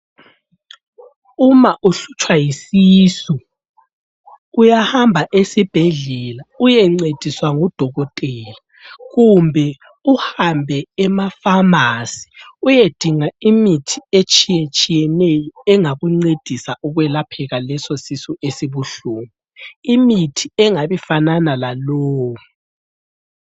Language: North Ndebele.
Uma uhlutshwa yisisu, uyahamba esibhedlela uyencediswa ngudokotela kumbe uhambe emafamasi uyedinga imithi etshiyetshiyeneyo engakuncedisa ukwelapheka lesosisu esibuhlungu, imithi engabifanana lalowu.